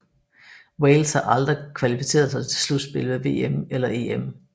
Wales har aldrig kvalificeret sig til slutspillet ved VM eller EM